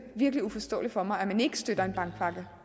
virkelig uforståeligt for mig at man ikke støtter en bankpakke